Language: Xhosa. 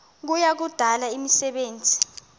kuya kudala imisebenzi